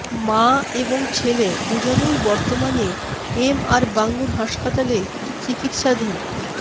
মা এবং ছেলে দুজনেই বর্তমানে এম আর বাঙ্গুর হাসপাতালে চিকিৎসাধীন